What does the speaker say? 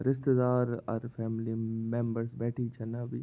रिश्तेदार अर family um members बैठीं छना अभी --